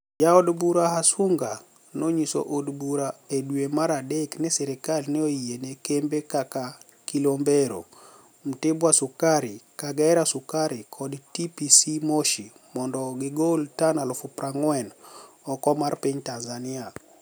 Ja od bura Hasuniga noniyiso od bura edwe mar adek nii sirkal ni e oyie ni e kembe kaka ,kilombero, mtibwa sukari ,kagera sukari ,kod TPCMoshi monido gigol tani 40,000 oko mar piniy tanizaniia